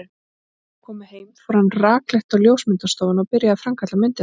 Þegar þau komu heim fór hann rakleitt á ljósmyndastofuna og byrjaði að framkalla myndirnar.